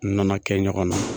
U nana kɛ ɲɔgɔn na.